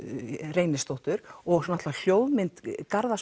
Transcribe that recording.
Reynisdóttur og hljóðmynd Garðars